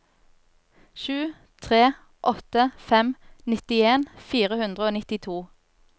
sju tre åtte fem nittien fire hundre og nittito